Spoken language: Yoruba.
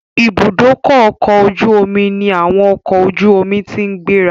Ìbúdókọ̀ ọ̀kọ̀ ojú omi ní àwọn ọkọ̀ ojú omi ti ń gbéra